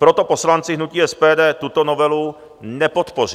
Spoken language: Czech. Proto poslanci hnutí SPD tuto novelu nepodpoří.